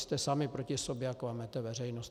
Jste sami proti sobě a klamete veřejnost.